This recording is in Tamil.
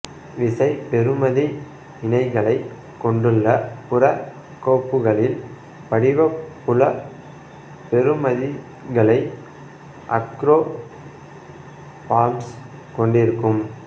விசைபெறுமதி இணைகளைக் கொண்டுள்ள புற கோப்புகளில் படிவ புல பெறுமதிகளை ஆக்ரோஃபார்ம்ஸ் கொண்டிருக்கும்